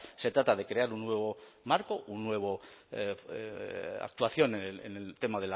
se trata de crear un nuevo marco una nueva actuación en el tema